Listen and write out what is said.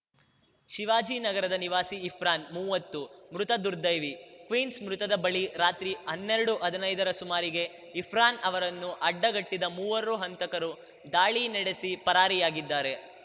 ಶಿವಾಜಿನಗರದ ನಿವಾಸಿ ಇರ್ಫಾನ್‌ ಮುವ್ವತ್ತು ಮೃತ ದುರ್ದೈವಿ ಕ್ವೀನ್ಸ್ ಮೃತ್ತದ ಬಳಿ ರಾತ್ರಿ ಹನ್ನೆರಡುಹದಿನೈದರ ಸುಮಾರಿಗೆ ಇರ್ಫಾನ್‌ ಅವರನ್ನು ಅಡ್ಡಗಟ್ಟಿದ ಮೂವರು ಹಂತಕರು ದಾಳಿ ನಡೆಸಿ ಪರಾರಿಯಾಗಿದ್ದಾರೆ